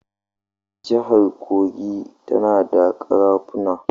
Jihar Kogi tana da ƙarafuna.